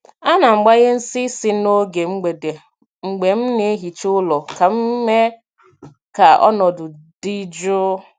A na m gbanye nsị ísì n’oge mgbede mgbe m na-ehicha ụlọ ka m mee ka ọnọdụ dị jụụ.